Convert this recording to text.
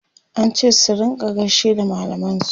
an ce su rinka gaishe da mallaman su